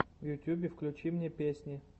в ютубе включи мне песни